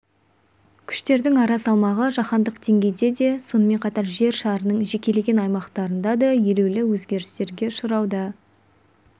күштердің ара салмағы жаһандық деңгейде де сонымен қатар жер шарының жекелеген аймақтарында да елеулі өзгерістерге ұшырауда